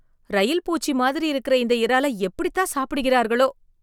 ரயில் பூச்சி மாதிரி இருக்கிற இந்த இறால எப்படி தான் சாப்பிடுகிறார்களோ